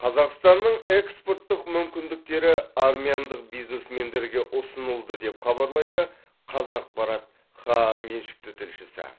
қазақстанның экспорттық мүмкіндіктері армяндық бизнесмендерге ұсынылды деп хабарлайды қазақпарат хаа меншікті тілшісі